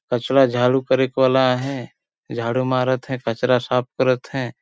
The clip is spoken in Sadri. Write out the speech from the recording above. कचड़ा झाड़ू मरेक वाला हे झाड़ू मारत हे कचड़ा साफ करत हे।